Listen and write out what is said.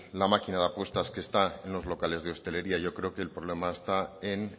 la máquina de apuestas que está en locales de hostelería yo creo que el problema está en